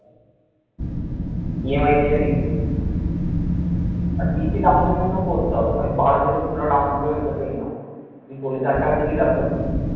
EMI তে যদি কিনিস আর বেশি down payment ও করতে হবে না। ওই বারো থেকে পনেরো down payment করলে enough তুই পচিশ হাজার টাকার যদি ল্যাপটপ কিনিস